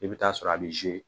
I bɛ taa sɔrɔ a b'i